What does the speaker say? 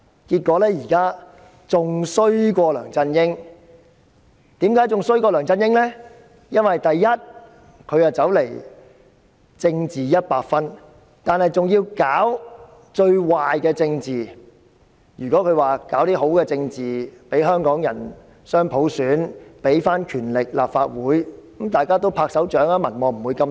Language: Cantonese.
結果她比梁振英更差，原因是她"政治一百分"，還要搞最壞的政治，如果她搞好政治，給香港人雙普選，把權力歸還立法會，大家都會鼓掌，她的民望也不會這麼低。